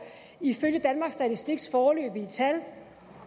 ifølge danmarks statistiks foreløbige tal